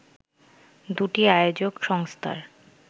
দুটি আয়োজক সংস্থার